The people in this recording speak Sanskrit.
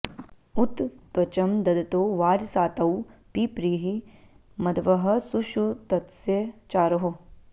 उ॒त त्वचं॒ दद॑तो॒ वाज॑सातौ पिप्री॒हि मध्वः॒ सुषु॑तस्य॒ चारोः॑